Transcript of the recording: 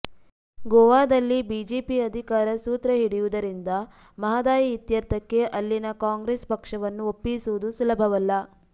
ಗೋವಾದಲ್ಲಿ ಬಿಜೆಪಿ ಅಧಿಕಾರ ಸೂತ್ರ ಹಿಡಿಯುವುದರಿಂದ ಮಹದಾಯಿ ಇತ್ಯರ್ಥಕ್ಕೆ ಅಲ್ಲಿನ ಕಾಂಗ್ರೆಸ್ ಪಕ್ಷವನ್ನು ಒಪ್ಪಿಸುವುದು ಸುಲಭವಲ್ಲ